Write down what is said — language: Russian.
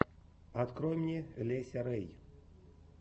открой мне леся рэй